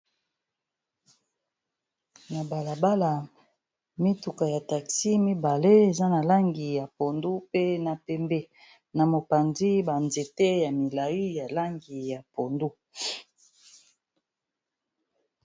na balabala mituka ya taxi mibale eza na langi ya pondu pe na pembe na mopanzi banzete ya milai ya langi ya pondu